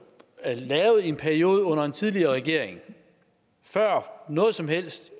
er lavet i en periode under en tidligere regering før noget som helst